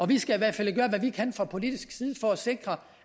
vi skal i hvert fald gøre hvad vi kan fra politisk side for at sikre